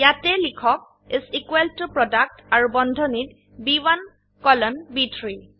ইয়াতে লিখক is equal ত PRODUCTআৰু বন্ধনীত B1 কোলন ব3